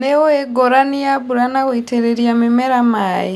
Nĩũĩ ngũrani ya mbura na gũitĩrĩria mĩmera maĩ.